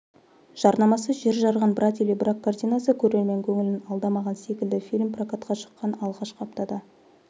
жарнамасы жер жарған брат или брак картинасы көрермен көңілін алдамаған секілді фильм прокатқа шыққан алғашқы аптада